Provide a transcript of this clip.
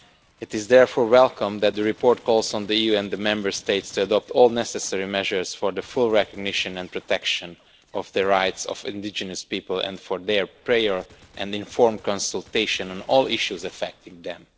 It is therefore welcome that the report calls on the EU and the Member States to adopt all necessary measures for the full recognition and protection of the rights of indigenous peoples and for their prior and informed consultation on all issues affecting them.